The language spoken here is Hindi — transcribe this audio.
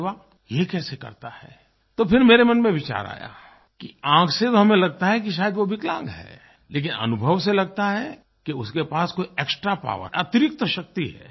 अरे वाह ये कैसे करता है तो फिर मेरे मन में विचार आया कि आँख से तो हमें लगता है कि शायद वो विकलांग है लेकिन अनुभव से लगता है कि उसके पास कोई एक्सट्रा पॉवर अतिरिक्त शक्ति है